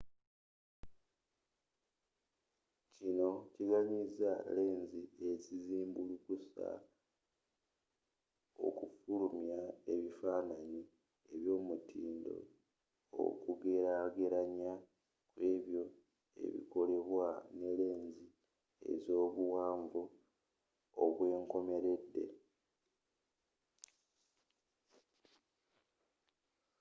kino kiganyiza lensi ezizimbulukusa okufulumya ebifaananyi eby'omutindo okugelagelanya kw'ebyo ebikolebwa ne lensi ezobuwanvu obwenkomeredde